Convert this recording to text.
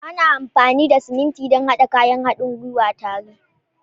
Ana amfani da siminti don haɗa kayan haɗin gwiwa tare